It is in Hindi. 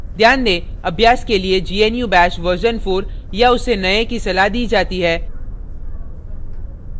ध्यान दें अभ्यास के लिए gnu bash version 4 या उससे नए की सलाह दी जाती है